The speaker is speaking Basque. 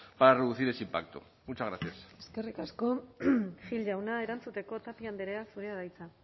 para reducir ese impacto muchas gracias eskerrik asko gil jauna erantzuteko tapia andrea zurea da hitza